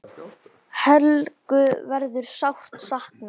Helgu verður sárt saknað.